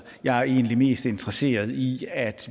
jeg er egentlig mest interesseret i at